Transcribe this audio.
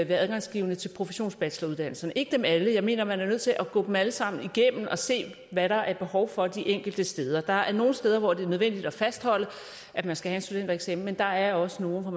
være adgangsgivende til professionsbacheloruddannelserne ikke dem alle for jeg mener man er nødt til at gå dem alle sammen igennem og se hvad der er behov for de enkelte steder der er nogle steder hvor det er nødvendigt at fastholde at man skal have en studentereksamen men der er også nogle hvor